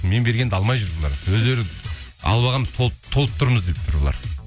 мен бергенді алмай жүр бұлар өздері алып алғанбыз толып тұрмыз деп тұр бұлар